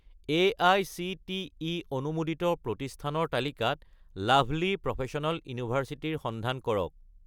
AICTE অনুমোদিত প্ৰতিষ্ঠানৰ তালিকাত লাভলী প্ৰফেচনেল ইউনিভাৰ্চিটি ৰ সন্ধান কৰক